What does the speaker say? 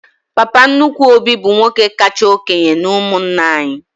Papa nnukwu Obi bụ nwoke kacha okénye n'umunna anyị